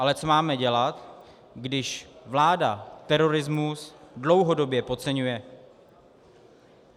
Ale co máme dělat, když vláda terorismus dlouhodobě podceňuje?